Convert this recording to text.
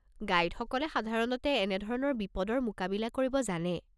গাইডসকলে সাধাৰণতে এনেধৰণৰ বিপদৰ মোকাবিলা কৰিব জানে।